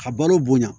A balo bonya